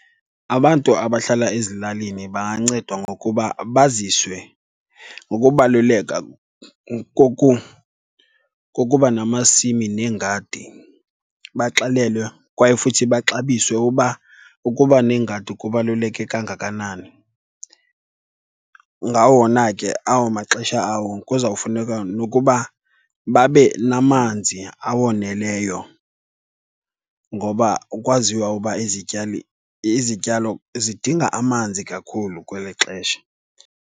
Abantu abahlala ezilalini bangancedwa ngokuba baziswe ngokubaluleka kokuba namasimi neengadi. Baxelelwe kwaye futhi baxabiswe uba ukuba nengadi kubaluleke kangakanani. Ngawona ke awo maxesha awo kuzawufuneka nokuba babe namanzi awoneleyo ngoba kwaziwa uba izityali, izityalo zidinga amanzi kakhulu kweli xesha.